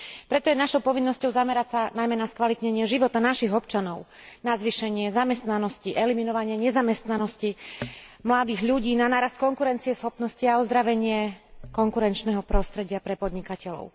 Preto je našou povinnosťou zamerať sa najmä na skvalitnenie života našich občanov, na zvýšenie zamestnanosti, eliminovanie nezamestnanosti mladých ľudí, na nárast konkurencieschopnosti a ozdravenie konkurenčného prostredia pre podnikateľov.